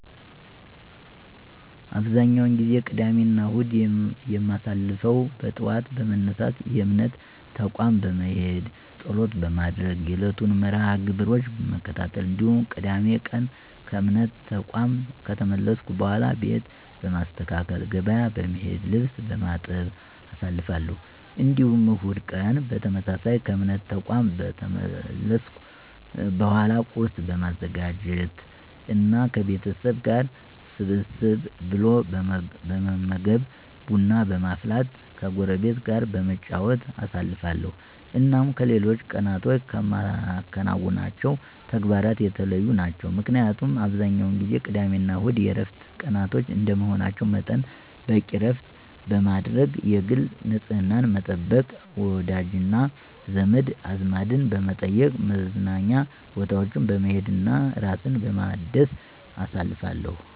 አብዛኛውን ጊዜ ቅዳሜና እሁድን የማሳልፈው በጠዋት በመነሳት የእምነት ተቋም በመሄድ ፀሎት በማድረግ የዕለቱን መርሐ -ግብሮች በመከታተል እንዲሁም ቅዳሜ ቀን ከእምነት ተቋም ከተመለስኩ በኃላ ቤት በማስተካከል፣ ገበያ በመሄድ፣ ልብስ በማጠብ አሳልፋለሁ። እንዲሁም እሁድ ቀን በተመሳሳይ ከእምነት ተቋም ከተመለስኩ በኃላ ቁርስ በማዘጋጀት እና ከቤተሰብ ጋር ሰብሰብ ብሎ በመመገብ፣ ቡና በማፍላት ከጎረቤት ጋር በመጨዋወት አሳልፋለሁ። እናም ከሌሎች ቀናቶች ከማከናውናቸው ተግባራት የተለዩ ናቸው። ምክንያቱም አብዛኛውን ጊዜ ቅዳሜና እሁድ የዕረፍት ቀናቶች እንደመሆናቸው መጠን በቂ ዕረፍት በማድረግ፣ የግል ንፅህናን በመጠበቅ፣ ወዳጅና ዘመድ አዝማድን በመጠየቅ፣ መዝናኛ ቦታዎች በመሄድ እና ራስን በማደስ አሳልፋለሁ።